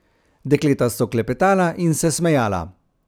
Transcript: Dekleta so klepetala in se smejala.